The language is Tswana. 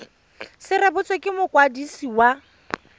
se rebotswe ke mokwadisi wa